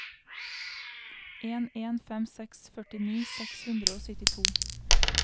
en en fem seks førtini seks hundre og syttito